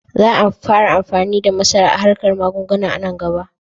Za a fara amfani da masara a arkar magunguna a nan gaba.